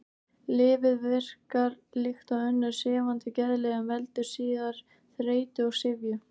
Lyfið verkar líkt og önnur sefandi geðlyf en veldur síður þreytu og syfju.